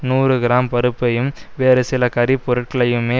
நூறு கிராம் பருப்பையும் வேறு சில கறிப் பொருட்களையுமே